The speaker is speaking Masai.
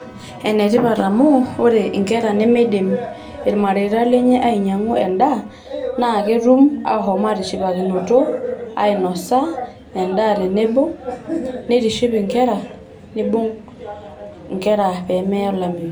Ene tipat amu ore inkera nemeidim irmareita lenye ainyiangu endaa naa ketum ahom atishipakinoto ainose endaa tenebo nitishi inkera pemeya olameyu.